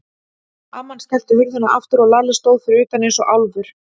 Amman skellti hurðinni aftur og Lalli stóð fyrir utan eins og álfur.